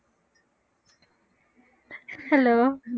hello